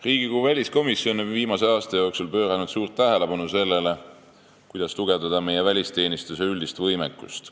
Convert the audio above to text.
Riigikogu väliskomisjon on viimase aasta jooksul pööranud suurt tähelepanu sellele, kuidas tugevdada meie välisteenistuse üldist võimekust.